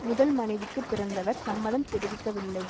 முதல் மனைவிக்கு பிறந்தவர் சம்மதம் தெரிவிக்கவில்லை